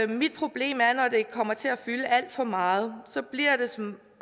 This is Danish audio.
mit problem er når det kommer til at fylde alt for meget så bliver det som